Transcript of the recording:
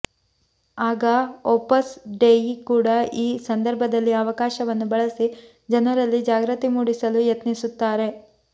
ಆಗ Opus Dei ಕೂಡಾ ಈ ಸಂದರ್ಭದಲ್ಲಿ ಅವಕಾಶವನ್ನು ಬಳಸಿ ಜನರಲ್ಲಿ ಜಾಗೃತಿ ಮೂಡಿಸಲು ಯತ್ನಿಸುತ್ತಾರೆ